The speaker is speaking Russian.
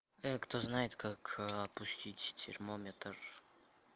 а кто знает как опустить термометр